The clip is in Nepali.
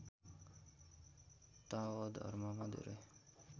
ताओ धर्ममा धेरै